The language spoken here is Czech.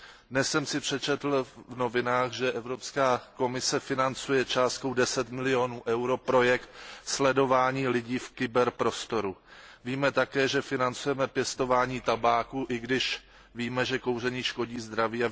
Dnes jsem si přečetl v novinách, že Evropská komise financuje částkou 10 milionů EUR projekt sledování lidí v kyberprostoru. Víme také, že financujeme pěstování tabáku, i když víme, že kouření škodí zdraví.